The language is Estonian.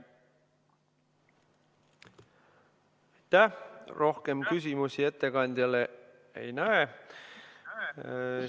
Rohkem küsimusi ettekandjale ma ei näe.